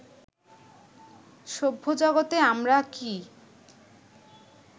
সভ্যজগতে আমরা কি